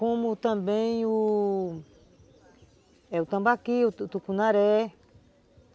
Como também o Tambaqui, o Tucunaré.